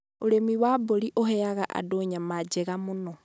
Ũrĩmi wa mburi ũheaga andũ nyama njega mũno.